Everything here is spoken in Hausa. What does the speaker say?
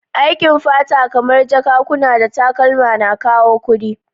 Aikin fata, kamar jakakuna da takalma na kawo kudi